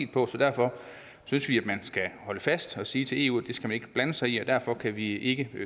på så derfor synes vi man skal holde fast og sige til eu at det skal de ikke blande sig i og derfor kan vi ikke